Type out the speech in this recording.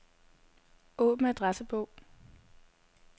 Åbn adressebog.